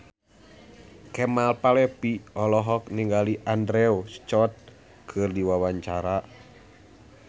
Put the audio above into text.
Kemal Palevi olohok ningali Andrew Scott keur diwawancara